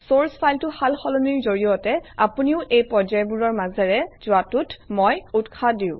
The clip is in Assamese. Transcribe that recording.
চৰ্চ ফাইলটো সাল সলনিৰ জৰিয়তে আপুনিও এই পৰ্যায়বোৰৰ মাজেৰে যোৱাটোত মই উৎসাহ দিওঁ